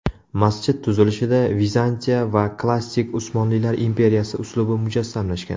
Masjid tuzilishida Vizantiya va klassik Usmonlilar imperiyasi uslubi mujassamlashgan.